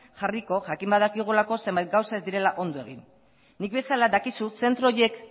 jarriko jakin badakigulako zenbait gauza ez direla ondo egin nik bezala dakizu zentro horiek